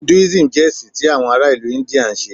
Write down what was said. Hinduism jẹ ẹsin ti awọn ara ilu India nṣe.